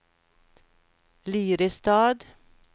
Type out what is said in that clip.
Lyrestad